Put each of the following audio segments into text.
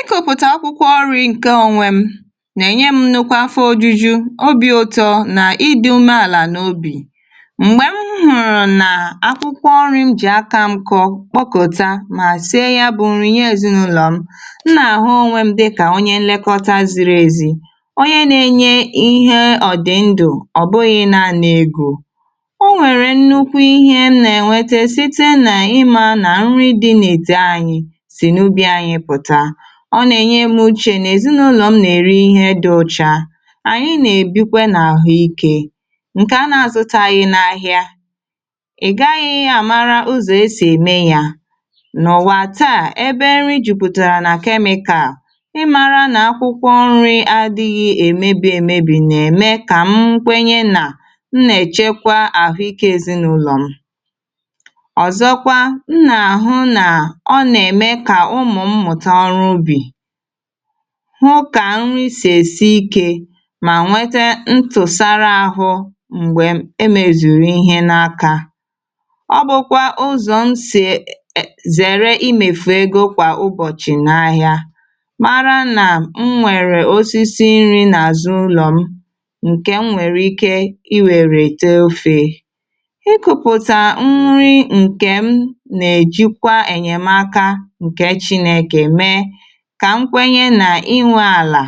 ịkọ̀pụ̀tà akwụkwọ ọrị̇ ǹkè onwé m nà-ènye m um nukwa afọ ojuju obi̇ ụtọ̇ nà ịdị̇ umeàlà n’obì m̀gbè m hụ̀rụ̀ nà akwụkwọ ọrị̇ m jì aka m kpọ̀kụ̀ta mà sịe yà bụ̀ nrị̇ nye èzinaụlọ m m nà-àhụ onwe m dịkà onye nlekọta ziri èzì onye nà-enye ihe ọ̀dịndụ̀ ọ̀bụghị̇ naanì egȯ o nwèrè nnukwu ihe m nà-ènwete site nà ịmȧ nà nrị dị n’ète anyị ọ nà-ènye m uchè nà èzinaụlọ̀ m nà-ère ihe dị̇ ọcha ànyị nà-èbikwe n’àhụikė ǹkè a na-àzụtaghị n’ahịa ị̀ gaghị yȧ àmara ụzọ̀ esì ème yȧ nọ̀wà taà ebe nri jùpùtàrà nà chemical ịmara nà akwụkwọ nri adịghị èmebi èmebi̇ nà-ème kà m nkwenye nà m nà-èchekwa àhụikė èzinụlọ̀ m ọ̀zọkwa m nà-àhụ nà ọ nà-ème kà ụmụ̀ m̀tà hụ ka nri sì èsi ikė mà nwete ntụ̀sara ahụ m̀gbè emèzùrù ihe n’aka ọ bụ̀kwà ụzọ̀ m sì è um è è zèrè imèfù egȯ kwà ụbọ̀chị̀ n’ahịa mara nà m nwèrè osisi nri n’azụ ụlọ̀ m ǹkè m nwèrè ike iwèrè teofè ịkụ̀pụ̀ta nri ǹkè m nà-èjikwa ènyèmaka kà nkwenye nà inwė àlà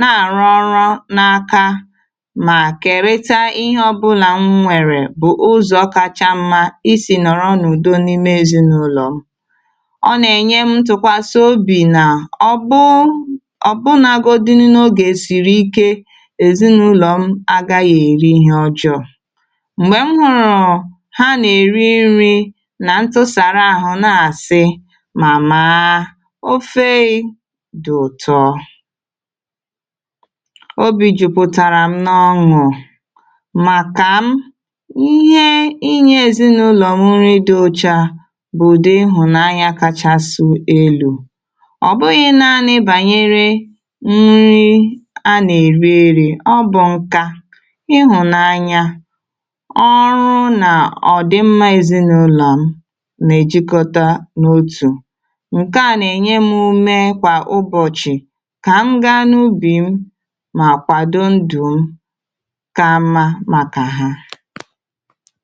na-àrụ ọrụ n’aka mà kèrita ihe ọbụlà m nwèrè bụ̀ ụzọ̀ ọ kacha mmȧ isì nọ̀rọ ọnu̇du n’ime èzinụlọ̀ m ọ nà-ènye m tụ̀kwasị obì nà ọ bụ um ọ̀ bụnȧgȯdi̇ nà ogè siri ike èzinụlọ̀ m aga yà èri ihe ọjọọ̇ m̀gbè m hụ̇rụ̀ ha nà-èri nri nà ntụsàrà àhụ na-àsị dụ̀tọ o bì jùpùtàrà m n’ọṅụ̀ màkà m ihe inyė ezinaụlọ̀ m nri dị̇ ọchà bụdị ihụ̀nanya kachasụ̇ elu̇ ọ̀ bụghị̇ naanị bànyere m nri a nà-èriri ọ bụ̀ nkà ihụ̀nanya ọrụ nà ọ̀ dị mma ezinaụlọ̀ m nà-èjikọta n’otù kà m ga n’ubi m mà kwàdo ndù m ka mma màkà ha.